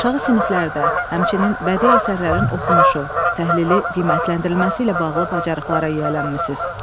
Aşağı siniflərdə, həmçinin bədii əsərlərin oxunuşu, təhlili, qiymətləndirilməsi ilə bağlı bacarıqlara yiyələnmisiniz.